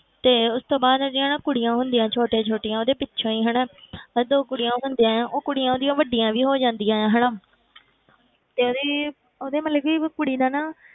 ਤੇ ਉਸ ਤੋਂ ਬਾਅਦ ਉਹਦੀਆਂ ਨਾ ਕੁੜੀਆਂ ਹੁੰਦੀਆਂ ਛੋਟੇ ਛੋਟੀਆਂ ਉਹਦੇ ਪਿੱਛੋਂ ਹੀ ਹਨਾ ਤੇ ਕੁੜੀਆਂ ਉਹ ਉਹ ਕੁੜੀਆਂ ਉਹਦੀਆਂ ਵੱਡੀਆਂ ਵੀ ਹੋ ਜਾਂਦੀਆਂ ਹਨਾ ਤੇ ਉਹਦੀ ਉਹਦੇ ਮਤਲਬ ਕਿ ਕੁੜੀ ਦਾ ਨਾ,